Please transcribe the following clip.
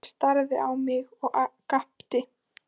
Þú horfir í fyrsta skipti á brjóstin á mér.